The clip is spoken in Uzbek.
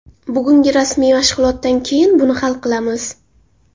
Bugungi rasmiy mashg‘ulotdan keyin buni hal qilamiz.